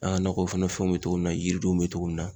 An ka nakɔ kɔnɔ fɛnw be togo min na, yiridenw be cogo min na.